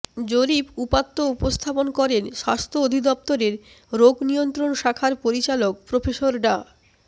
জরিপ উপাত্ত উপস্থাপন করেন স্বাস্থ্য অধিদফতরের রোগ নিয়ন্ত্রণ শাখার পরিচালক প্রফেসর ডা